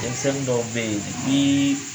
Denmisɛnw dɔw bɛ yen